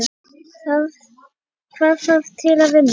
Hvað þarf til að vinna?